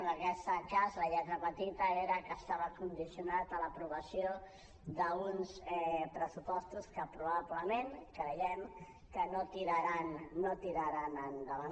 en aquest cas la lletra petita era que estava condicionat a l’aprovació d’uns pressupostos que probablement creiem que no tiraran endavant